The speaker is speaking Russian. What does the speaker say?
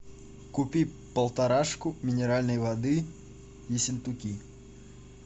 купи полторашку минеральной воды ессентуки